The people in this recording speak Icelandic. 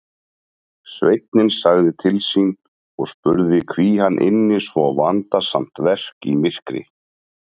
Sveinninn sagði til sín og spurði hví hann ynni svo vandasamt verk í myrkri.